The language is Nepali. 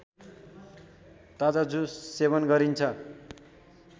ताजा जुस सेवन गरिन्छ